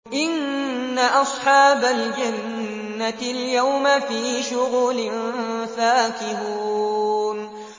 إِنَّ أَصْحَابَ الْجَنَّةِ الْيَوْمَ فِي شُغُلٍ فَاكِهُونَ